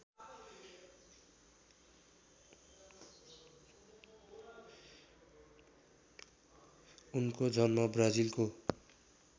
उनको जन्म ब्राजिलको